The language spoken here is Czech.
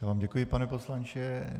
Já vám děkuji, pane poslanče.